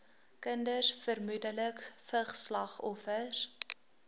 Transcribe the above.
kinders vermoedelik vigsslagoffers